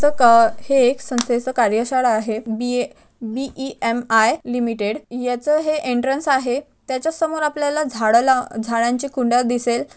है एक च्या कार्यशाळा आहे बी_ए बी_ई_एम_आय लिमिटेड याचा है एंट्रेन्स आहे त्याच्या समोर आपल्याला झाड लाव झाडांचे कुंड्या दिसेल.